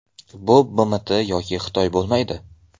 Bu BMT yoki Xitoy bo‘lmaydi.